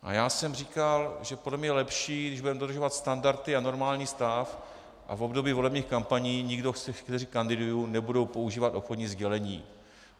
A já jsem říkal, že podle mě je lepší, když budeme dodržovat standardy a normální stav a v období volebních kampaní nikdo z těch, kteří kandidují, nebude používat obchodní sdělení.